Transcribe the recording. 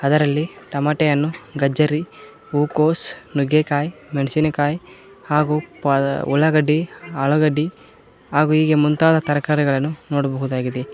ಅದರಲ್ಲಿ ತಮಾಟೆ ಹಣ್ಣು ಗಜ್ಜರಿ ಹೂಕೋಸ್ ನುಗ್ಗೆಕಾಯ್ ಮೆಣಸಿನಕಾಯ್ ಹಾಗೂ ಪಾದ ಉಳ್ಳಾಗಡ್ಡಿ ಆಲೂಗಡ್ಡಿ ಹಾಗೂ ಹೀಗೆ ಮುಂತಾದ ತರಕಾರಿಗಳನ್ನು ನೋಡಬಹುದಾಗಿದೆ.